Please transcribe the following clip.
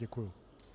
Děkuji.